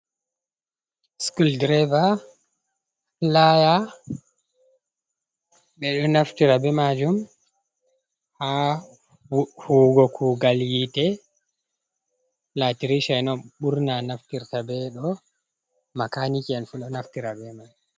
Skul direva, playa, ɓeɗo naftira be majum ha huwugo kugal yite, latirisha en on ɓurna naftirta be ɗo, makaniki en fu ɗo naftira be mai.